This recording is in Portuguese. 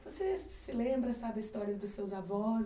Você se se lembra, sabe, histórias dos seus avós?